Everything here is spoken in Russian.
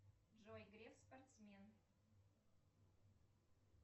джой греф спортсмен